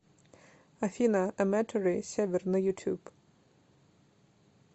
афина аматори север на ютуб